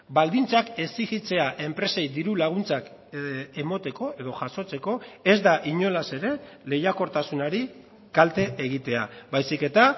baldintzak exijitzea enpresei diru laguntzak emateko edo jasotzeko ez da inolaz ere lehiakortasunari kalte egitea baizik eta